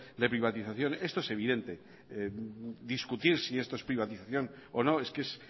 de privatización esto es evidente discutir si esto es privatización o no es que es